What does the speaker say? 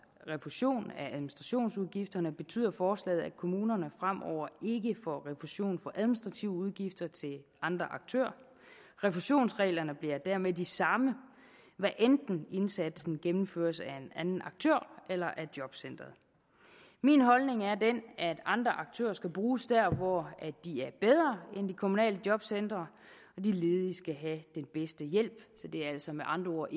refusion af administrationsudgifterne betyder forslaget at kommunerne fremover ikke får refusion for administrative udgifter til andre aktører refusionsreglerne bliver dermed de samme hvad enten indsatsen gennemføres af en anden aktør eller af jobcenteret min holdning er den at andre aktører skal bruges der hvor de er bedre end de kommunale jobcentre de ledige skal have den bedste hjælp så det er altså med andre ord